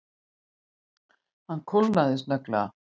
Honum kólnaði snögglega.